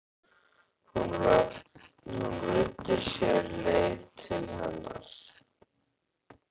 Hann ruddi sér leið til hennar.